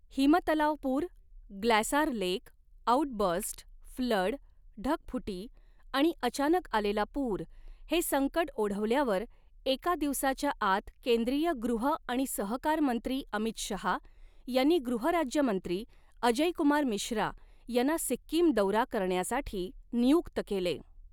हिम तलाव पूर glacial lake outburst flood ढगफुटी आणि अचानक आलेला पूर हे संकट ओढवल्यावर एका दिवसाच्या आत केंद्रीय गृह आणि सहकार मंत्री अमित शहा यांनी गृहराज्यमंत्री अजय कुमार मिश्रा यांना सिक्कीम दौरा करण्यासाठी नियुक्त केले.